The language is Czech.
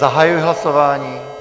Zahajuji hlasování.